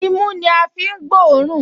Imú ní a fi ń gbọ́ òórùn